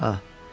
Ah.